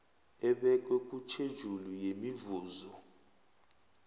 ebekwe kutjhejuli yemivuzo